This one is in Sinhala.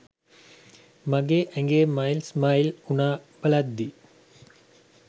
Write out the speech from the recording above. මගේ ඇගේ මයිල් ස්මයිල් උනා බලද්දී.